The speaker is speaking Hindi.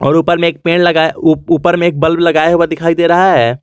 ऊपर में एक पेड़ लगाए ऊपर में एक बल्ब लगाया हुआ दिखाई दे रहा है।